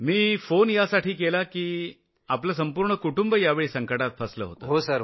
मी phone यासाठी केला की कारण आपल्या संपूर्ण कुटुंबवर हे संकट आलं होतं